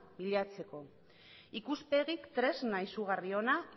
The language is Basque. bilatzeko ikuspegik tresna izugarri ona